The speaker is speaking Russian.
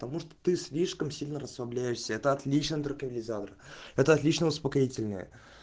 потому что ты слишком сильно расслабляешься это отличный транквилизатор это отличное успокоительное